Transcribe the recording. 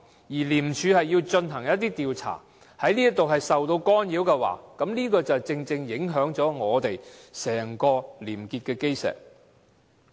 如果廉署要進行的一些調查受到干擾，便正正影響整個廉潔的基石。